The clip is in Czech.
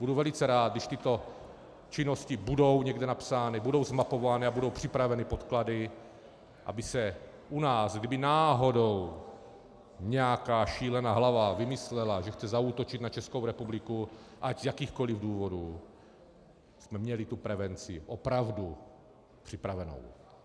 Budu velice rád, když tyto činnosti budou někde napsány, budou zmapovány a budou připraveny podklady, aby se u nás, kdyby náhodou nějaká šílená hlava vymyslela, že chce zaútočit na Českou republiku, ať z jakýchkoli důvodů, jsme měli tu prevenci opravdu připravenou.